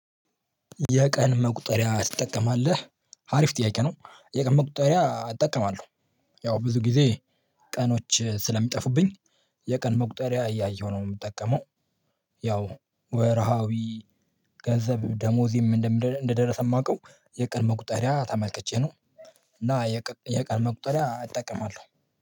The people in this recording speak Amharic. የቀን መቁጠሪያ ትጠቀማለህ? አሪፍ ጥያቄ ነው የቀን መቁጠሪያ እጠቀማለሁ። ያው ብዙ ጊዜ ቀኖች ስለሚጠፉብኝ የቀን መቁጠሪያ እያየሁ ነው የምጠቀመው። ያው ወርሃዊ ገንዘብ ደሞዜም እንደደረሰ የማውቀው የቀድሞ ቁጠሪያ ተመልከቼ ነው። እና የቀን መቁጠሪያ አጠቀማለሁ።